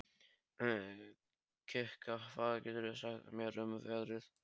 Kikka, hvað geturðu sagt mér um veðrið?